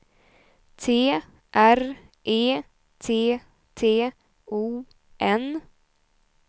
T R E T T O N